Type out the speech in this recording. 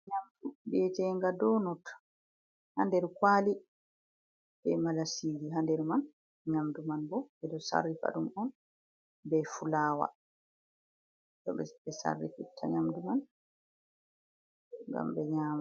Nyamdu bietenga donot ha nder kwali, ɓe malasiji ha nder man nyamdu man bo ɓeɗo sarrifa ɗum on be fulawa to ɓe sarrifitta nyamdu man ngam ɓe nyama.